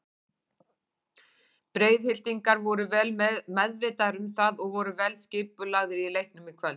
Breiðhyltingar voru vel meðvitaðir um það og voru vel skipulagðir í leiknum í kvöld.